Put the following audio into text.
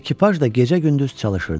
Ekipaj da gecə-gündüz çalışırdı.